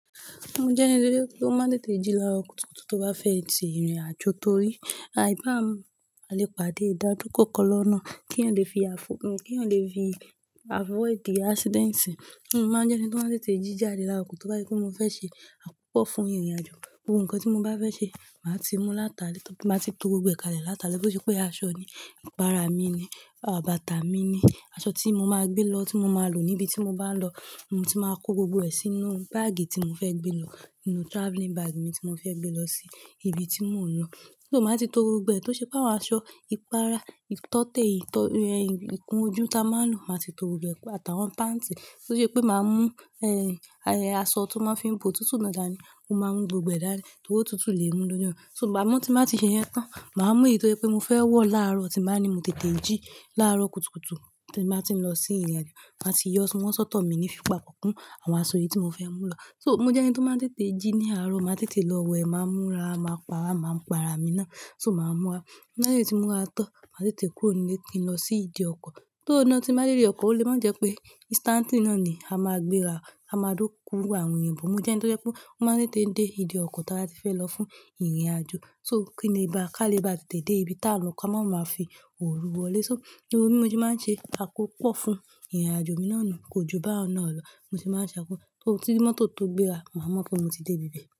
Mo jẹ́ ẹni tó jẹ́ tó má tètè jí lároo kùtùkùtù tó bá fẹ́ tì ìrìnàjò torí àìbámo à lè pàdé ìdádúkò kọ̀lọ̀ lọ́nà. Kí ń le fi ki n le fi avoid accidents. Mo máa jẹ́ ẹni tó máa tètè jí jáde lákoko tó bá je pé mo fẹ́ ṣe àkópọ̀ fún ìrìnàjò. Gbogbo n kan tí mo bá fẹ́ ṣe, màá ti mú látale, màá ti to gbogbo ka le látale, bó ṣe pé aṣọ ni, ìpara mi ni, à bàtà mi ni, aṣọ tí mo máa gbé lọ tí mo máa lò níbi tí mo bá ń lọ. Mo ti máa kó gbogbo ẹ̀ sínú báàgì tí mo fẹ́ gbé lọ, inú travelling bag mi tí mo fẹ́ gbé lọ sí ibi tí mò ń lọ. Though máa ti to gbogbo ẹ̀ tó ṣe pé àwọn aṣọ ìpara, ìtọ́tè, ìtọ́ e ikún ojú tí a máa ń lò, màá ti to gbogbo ẹ̀, àtàwọn panti tó ṣe pé màá mú, ẹ́, aṣọ tí wọ́n fi ń po tútù náà dání. Mo máa ń mú gbogbo ẹ̀ dání, tòri ótútù lè mú lọ́jọ́. So màá mú tí màá ti ṣe yẹn tán. Màá mú èyí tó jẹ́ pé mo fẹ́ wọ̀ láàárọ̀ tí bàá ní mo tètè jí láàárọ̀ kùtùkùtù tí màá ti lọ sí ìrìnàjò. Màá ti yọ, wọ́n sọ́tọ̀ mi ní fí papọ̀ kùn àwọn aṣọ yìí tí mo fẹ́ mú lọ. So mo jẹ́ ẹni tó máa n tètè jí ní àárọ̀. Màá tètè lọ wẹ̀, màá múra, màá pa ara, màá pa ara mi ná. So màá múra. Lẹ́yìn tí mo múra tán, màá tètè kúrò nílé kí n lọ sí ìdí ọkọ̀. Though na tí n màá dé ìdí ọkọ̀, ó lè máa jẹ́ pé instantly náà ni a máa gbéra. A máa dúró fún àwọn èèyàn. Mo jẹ́ ẹni tó jẹ́ pé ó máa tètè dé ìdí ọkọ̀ tí a ba ti fẹ́ lọ fún ìrìnàjò. So kí nle bá ká lè bá tètè dé ibi tá n lọ ká máa báa fi òru wọlé. To, gbogbo bi mo se máa ń ṣe àkópọ̀ fún ìrìnàjò mi náà ni kò ju bá un náà lọ́ mo tì máa ń ṣe àkópọ̀. Só ki mọ́tò tó gbéra, màá mọ̀ pé mo ti dé ibi bẹ́ẹ̀